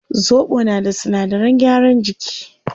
Zobo na da sinadaran gyaran jiki